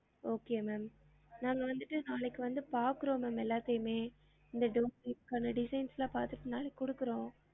Okay ma'am நாங்க வந்துட்டு நாளைக்கு வந்து பாக்குறோம் ma'am எல்லாத்தையுமே இந்த design லாம் பாத்திட்டு நாளைக்கு குடுக்குறோம்